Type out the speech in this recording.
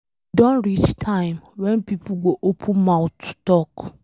E don reach time wen people go open mouth talk.